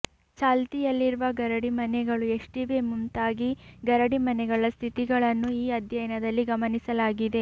ಚಾಲ್ತಿಯಲ್ಲಿರುವ ಗರಡಿಮನೆಗಳು ಎಷ್ಟಿವೆ ಮುಂತಾಗಿ ಗರಡಿ ಮನೆಗಳ ಸ್ಥಿತಿಗಳನ್ನು ಈ ಅಧ್ಯಯನದಲ್ಲಿ ಗಮನಿಸಲಾಗಿದೆ